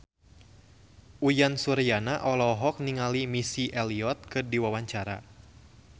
Uyan Suryana olohok ningali Missy Elliott keur diwawancara